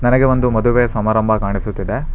ನನಗೆ ಒಂದು ಮದುವೆ ಸಮಾರಂಭ ಕಾಣಿಸುತ್ತಿದೆ.